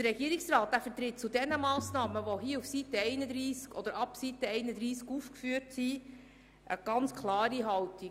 Der Regierungsrat vertritt zu diesen Massnahmen, die ab Seite 31 aufgeführt sind, eine ganz klare Haltung: